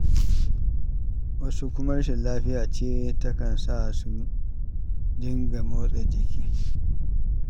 Wasu kuma rashin lafiya ce takan sa su dinga motsa jikin.